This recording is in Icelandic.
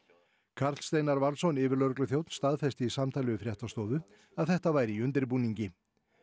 Karl Steinar Valsson yfirlögregluþjónn staðfesti í samtali við fréttastofu að þetta væri í undirbúningi